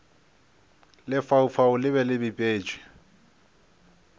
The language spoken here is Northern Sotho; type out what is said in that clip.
lefaufau le be le bipetšwe